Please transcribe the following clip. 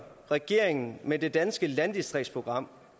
regeringen med det danske landdistriktsprogram